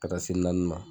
Ka taa se naani ma